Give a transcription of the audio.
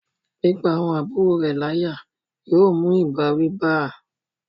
pípá àwọn àbúrò rẹ̀ láyà yóò mú ìbáwí bá a